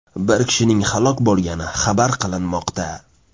Bir kishining halok bo‘lgani xabar qilinmoqda.